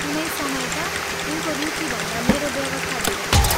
कुनै समय त उनको रुचिभन्दा मेरो व्यवस्था धेर थियो।